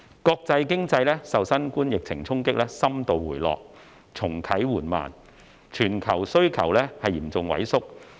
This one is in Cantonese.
國際經濟受新冠疫情衝擊深度回落，重啟緩慢，全球需求嚴重萎縮。